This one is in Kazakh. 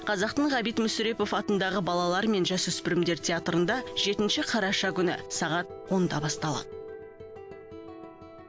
қазақтың ғабит мүсірепов атындағы балалар мен жасөспірімдер театрында жетінші қараша күні сағат онда басталады